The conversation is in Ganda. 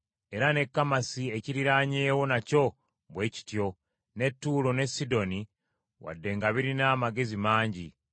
era ne Kamasi ekiriraanyeewo nakyo bwe kityo, ne Ttuulo ne Sidoni wadde nga birina amagezi mangi.